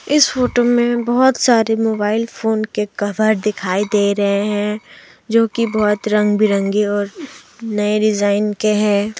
इस फोटो में बहोत सारे मोबाइल फोन के कभर दिखाई दे रहे हैं जो की बहुत रंग-बिरंगी और नए डिजाइन के हैं।